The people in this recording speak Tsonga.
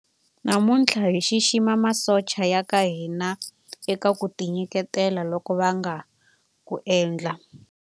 Namuntlha hi xixima masocha ya ka hina eka ku tinyiketela loku va nga ku endla.